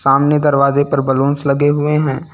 सामने दरवाजे पर बलूंस लगे हुए हैं।